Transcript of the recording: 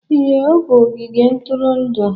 Ee, ọ bụ ogige ntụrụndụ